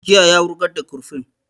Jiye ya wurgar da kurfin